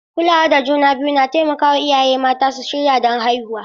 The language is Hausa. Kulawa da juna biyu na taimaka wa iyaye mata su shirya don haihuwa.